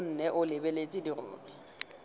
o nne o lebeletse dirori